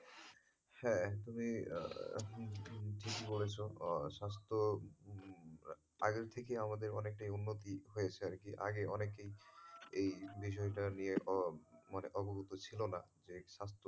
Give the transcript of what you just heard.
হ্যাঁ, একদমই ঠিকই বলেছ স্বাস্থ্য উম আগের থেকে অনেকটা আমাদের উন্নতি হয়েছে আরকি আগে অনেকেই এই বিষয়টা নিয়ে বা মানে অবগত ছিল না যে স্বাস্থ্যের,